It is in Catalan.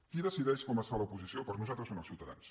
qui decideix com es fa l’oposició per nosaltres són els ciutadans